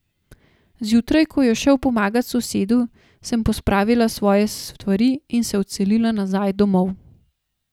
Zjutraj, ko je šel pomagat sosedu, sem pospravila svoje stvari in se odselila nazaj domov.